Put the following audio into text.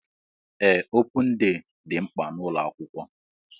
Ee opun dee dị mkpa n'ụlọ akwụkwọ